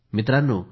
मित्रांनो